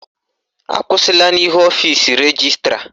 Akwụsịla n'ihu ọfisi rejistra!